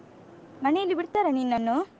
ಮನೆಯಲ್ಲಿ ಬಿಡ್ತಾರಾ ನಿನ್ನನ್ನು?